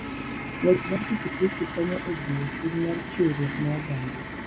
Ng'wech mar pikipiki konyo e jiwo chuny mar chiwruok ne oganda.